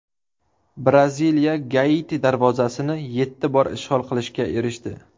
Braziliya Gaiti darvozasini yetti bor ishg‘ol qilishga erishdi .